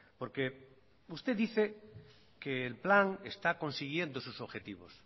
porque usted dice que el plan está consiguiendo sus objetivos